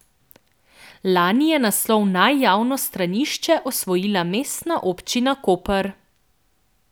Lani je naslov Naj javno stranišče osvojila mestna občina Koper.